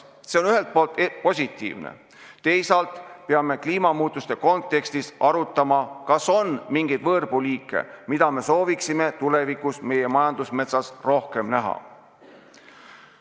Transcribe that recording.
See on ühelt poolt positiivne, teisalt peame kliimamuutuste kontekstis arutama, kas on mingeid võõrpuuliike, mida me sooviksime tulevikus meie majandusmetsas rohkem näha.